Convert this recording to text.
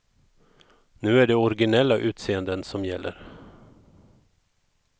Nu är det originella utseenden som gäller.